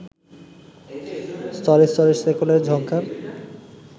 স্তরে স্তরে শেকলের ঝংকার